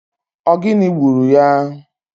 Ogini gburu ya?